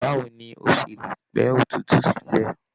Báwo ní o ṣe lè pẹ́ òtútù sílẹ?